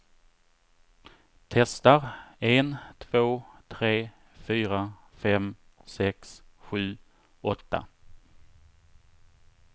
Testar en två tre fyra fem sex sju åtta.